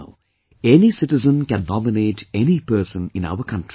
Now any citizen can nominate any person in our country